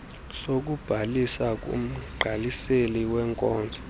sokubhalisa kumgqaliseli weenkonzo